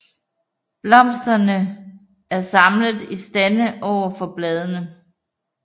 Blomsterne er samlet i stande overfor bladene